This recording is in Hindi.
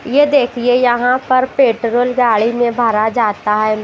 यह देखिए यहां पर पेट्रोल गाड़ी में भरा जाता है।